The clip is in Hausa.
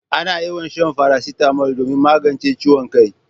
Ana yawan shan farasitamol domin magance ciwon kai.